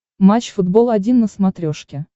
матч футбол один на смотрешке